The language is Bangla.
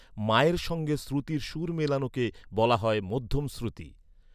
মা এর সঙ্গে শ্রুতির সুর মেলানোকে বলা হয় মধ্যম শ্রুতি।